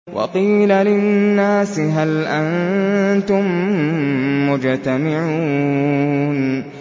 وَقِيلَ لِلنَّاسِ هَلْ أَنتُم مُّجْتَمِعُونَ